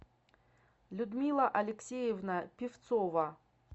людмила алексеевна певцова